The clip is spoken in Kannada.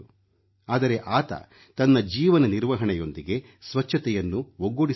ಆದರೆ ಆತ ತನ್ನ ಜೀವನ ನಿರ್ವಹಣೆಯೊಂದಿಗೆ ಸ್ವಚ್ಛತೆಯನ್ನು ಒಗ್ಗೂಡಿಸಿಕೊಂಡ